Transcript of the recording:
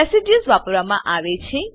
residues વપારવામાં આવે છે